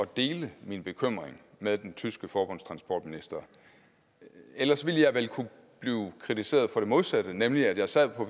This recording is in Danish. dele min bekymring med den tyske forbundstransportminister for ellers ville jeg vel kunne blive kritiseret for det modsatte nemlig at jeg sad